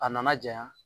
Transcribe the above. A nana janya